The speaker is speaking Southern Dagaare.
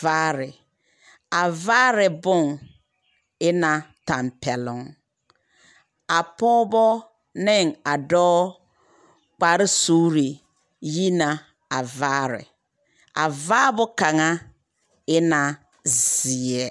vaare, a vaare boŋ e ne tampԑloŋ. A pͻgebͻ ne a dͻͻ kpare suuri yi na a vaare. A vaabo kaŋa e na zeԑ.